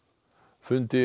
fundi